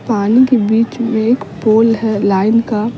पानी के बीच में एक पोल है लाइन का--